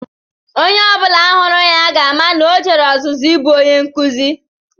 Onye ọ bụla hụrụ ya ga-ama na o jere ọzụzụ ịbụ Onye nkụzi